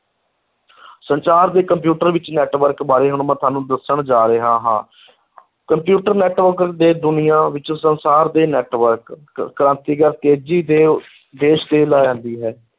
ਸੰਚਾਰ ਦੇ ਕੰਪਿਊਟਰ ਵਿੱਚ network ਬਾਰੇ ਹੁਣ ਮੈਂ ਤੁਹਾਨੂੰ ਦੱਸਣ ਜਾ ਰਿਹਾ ਹਾਂ ਕੰਪਿਊਟਰ network ਦੇ ਦੁਨੀਆਂ ਵਿੱਚ ਸੰਸਾਰ ਦੇ network ਕ~ ਕ੍ਰਾਂਤੀਕਾਰ ਤੇਜ਼ੀ ਤੇ ਹੈ।